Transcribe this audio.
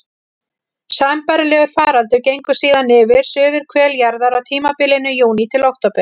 Sambærilegur faraldur gengur síðan yfir suðurhvel jarðar á tímabilinu júní til október.